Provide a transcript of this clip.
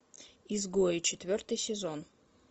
изгои четвертый сезон